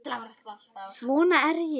Svona er ég.